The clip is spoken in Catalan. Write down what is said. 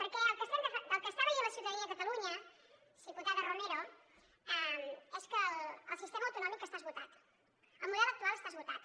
perquè el que està veient la ciutadania de catalunya diputada romero és que el sistema autonòmic està esgotat el model actual està esgotat